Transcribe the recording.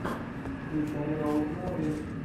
включай роуд муви